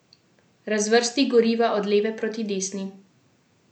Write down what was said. Razvrsti goriva od leve proti desni.